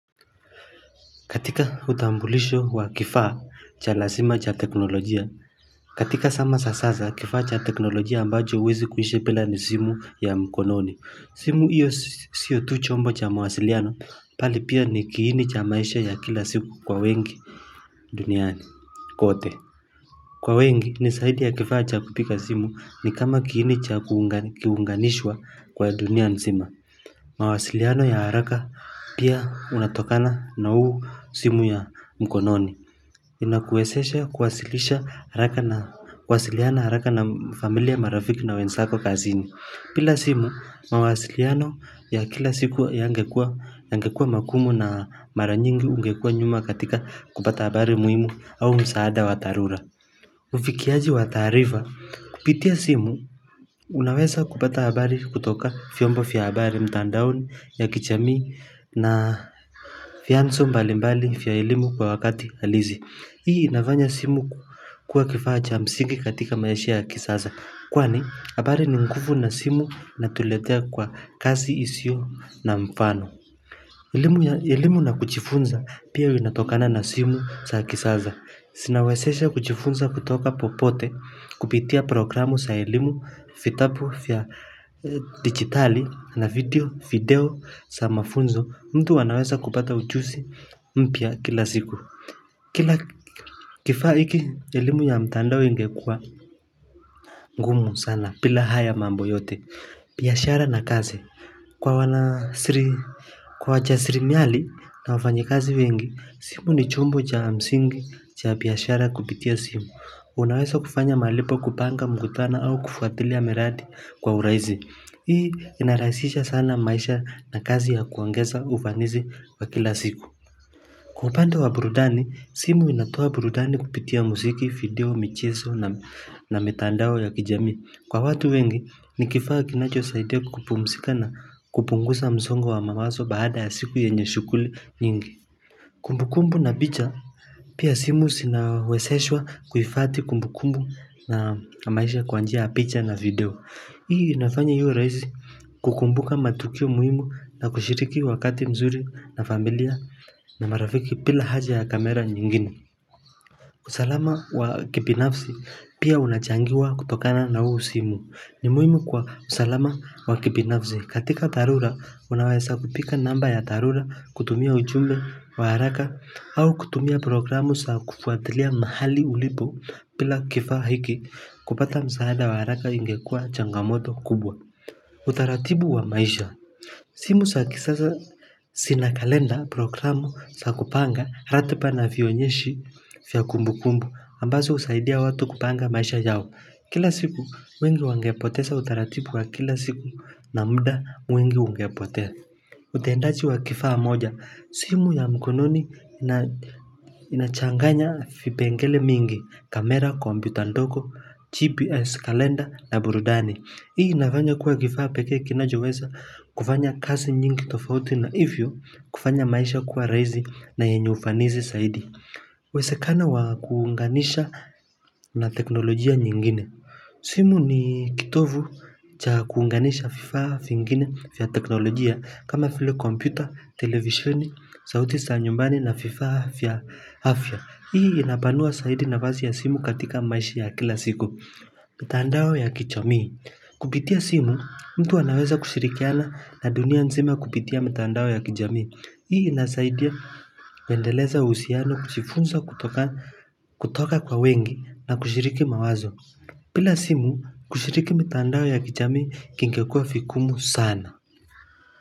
Katika utambulisho wa kifaa cha lasima cha teknolojia. Katika sama sa sasa kifaa cha teknolojia ambacho huwezi kuishi pila ni simu ya mkononi. Simu iyo siyo tu chombo cha mawasiliano pali pia ni kiini cha maisha ya kila siku kwa wengi duniani. Kote. Kwa wengi ni saidi ya kifaa cha kupika simu ni kama kiini cha kiuunganishwa kwa dunia nsima. Mawasiliano ya haraka pia unatokana na uu simu ya mkononi Inakuesesha kuwasilisha haraka na kuwasiliana haraka na familia marafiki na wensako kazini pila simu, mawasiliano ya kila siku wa yangekua makumu na mara nyingi ungekua nyuma katika kupata habari muimu au msaada wa tharura Ufikiaji wa taarifa, kupitia simu, unaweza kupata habari kutoka fiombo fya habari mtandaoni ya kichamii na fianzo mbalimbali fya elimu kwa wakati halizi Hii inavanya simu kuwa kifa cha msingi katika maisha ya kisasa Kwani, habari ni ngufu na simu natuletea kwa kasi isio na mfano Ilimu na kuchifunza pia inatokana na simu saa kisaza Sinawezesha kuchifunza kutoka popote kupitia programu sa elimu fitabu fya dijitali na video video sa mafunzo mtu anaweza kupata ujusi mpya kila siku Kila kifaa iki elimu ya mtandao ingekuwa ngumu sana pila haya mambo yote Piashara na kaze Kwa wana sri Kwa wajasrimiali na wafanyikazi wengi simu ni chombo cha msingi cha piashara kupitia simu Unaweza kufanya malipo kupanga mkutana au kufuatilia miradi kwa uraizi. Hii inarahisisha sana maisha na kazi ya kuongeza ufanizi wa kila siku. Kwa upande wa burudani, simu inatoa burudani kupitia musiki, video, micheso na mitandao ya kijamii. Kwa watu wengi, ni kifaa kinachosaidia ku kupumsika na kupungusa mzongo wa mawaso baada ya siku yenye shukuli nyingi. Kumbukumbu na picha pia simu sinaweseshwa kuifathi kumbukumbu na maisha kwa njia ya picha na video. Hii inafanya iwe raizi kukumbuka matukio muhimu na kushiriki wakati mzuri na familia na marafiki pila haja ya kamera nyingine. Usalama wa kipinafsi pia unachangiwa kutokana na huu simu ni muhimu kwa usalama wa kipinafsi katika tharura unawesa kupika namba ya tharura kutumia ujumbe wa haraka au kutumia programu sa kufuathilia mahali ulipo pila kifaa hiki kupata msaada wa haraka ingekua changamoto kubwa utaratibu wa maisha simu sa kisasa sina kalenda programu sa kupanga ratipa na vionyeshi fya kumbukumbu ambazo husaidia watu kupanga maisha yao. Kila siku wengi wangepotesa utaratipu wa kila siku na mda mwingi ungepotea. Utendaji wa kifaa moja, simu ya mkononi inachanganya fipengele mingi, kamera, kombyuta ndoko, GPS kalenda na burudani. Hii inafanya kuwa kifaa peke kinajowesa kufanya kasi nyingi tofauti na ifyo kufanya maisha kuwa raizi na yenye ufanizi saidi. Uwesekano wa kuunganisha na teknolojia nyingine. Simu ni kitovu cha kuunganisha fifaa fingine fya teknolojia kama file kompyuta, televisheni, sauti sa nyumbani na fifaa fya hafya. Hii inapanua saidi navazi ya simu katika maisha ya kila siku. Mitandao ya kichamii Kupitia simu mtu anaweza kushirikiana na dunia nzima kupitia mitandao ya kijamii Hii inasaidia kuendeleza uhusiano kuchifunza kutoka kwa wengi na kushiriki mawazo pila simu kushiriki mitandao ya kichamii kingekua fikumu sana.